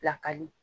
Pilakali